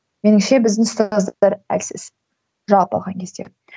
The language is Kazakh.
меніңше біздің ұстаздар әлсіз жалпы алған кезде